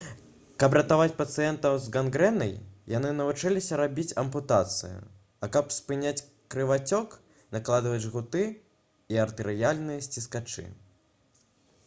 каб ратаваць пацыентаў з гангрэнай яны навучыліся рабіць ампутацыі а каб спыняць крывацёк накладваць жгуты і артэрыяльныя сціскачы